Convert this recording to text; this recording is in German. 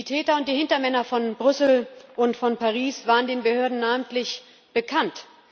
Die Täter und die Hintermänner von Brüssel und von Paris waren den Behörden namentlich bekannt.